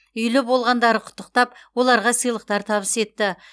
үйлі болғандары құттықтап оларға сыйлықтар табыс етті